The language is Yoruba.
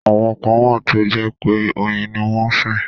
Àwọn kan wà tó jẹ́ pé oyin ni wọ́n sìn.